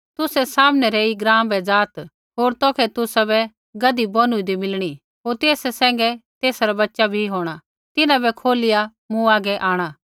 तुसै सामनै रै ऐई ग्राँ बै ज़ाआत् होर तौखै तुसाबै गधी बोनुईदी मिलणी होर तेसा सैंघै तेसा रा बच्च़ा भी होंणा तिन्हां बै खोलिया मूँ हागै आंणा